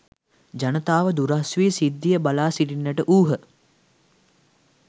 ජනතාව දුරස් වී සිද්ධිය බලා සිටින්නට වූහ.